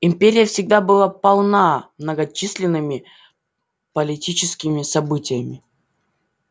империя всегда была полна многочисленными политическими событиями